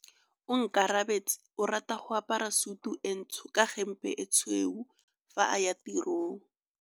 Onkabetse o rata go apara sutu e ntsho ka hempe e tshweu fa a ya tirong.